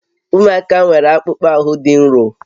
Ụmụaka nwere akpụkpọ ahụ dị nro